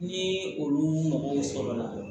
Ni olu mago sɔrɔ la